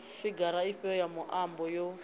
figara ifhio ya muambo yo